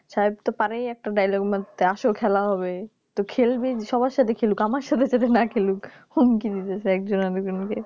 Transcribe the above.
সাহেব তো পারেই একটা Dialogue মারতে যে এস খেলা হবে তো খেলবে সবার সাথে খেলুক আমার সাথে যাতে না খেলুক হুমকি দিতাছে একজন আরেকজন কে